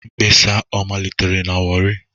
Mkpesa a ọ malitere na Warri?